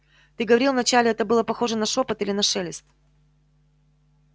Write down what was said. ты говорил вначале это было похоже на шёпот или на шелест